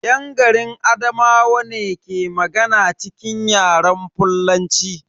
Yan garin Adamawa ne ke magana cikin Yaren fullanci.